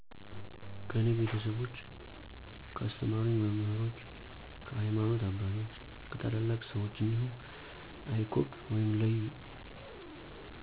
ከኔ ቤተሰቦች፣ ካስተማሩኝ መምህሮች፣ ከሀይማኖተ አባቶች፣ ከታላላቅ ሰወች እንዲሁም icog(leyu